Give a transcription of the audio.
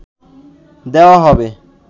দেওয়া হবে